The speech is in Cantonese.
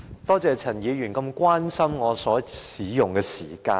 多謝陳議員如此關心我所使用的發言時間。